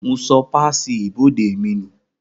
Mo sọ páàsì ibodè mi nù